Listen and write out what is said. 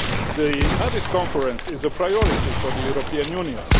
The Addis conference is a priority for the European Union.